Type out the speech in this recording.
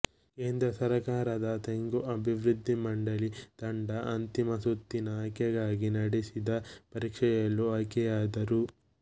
ಕೇಂದ್ರ ಸರ್ಕಾರದ ತೆಂಗುಅಭಿವೃದ್ಧಿಮಂಡಳಿ ತಂಡ ಅಂತಿಮ ಸುತ್ತಿನ ಆಯ್ಕೆಗಾಗಿ ನಡೆಸಿದ ಪರೀಕ್ಷೆಯಲ್ಲೂ ಆಯ್ಕೆಯಾದರು